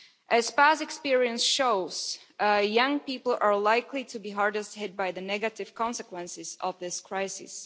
As past experience shows, young people are likely to be hardest hit by the negative consequences of this crisis.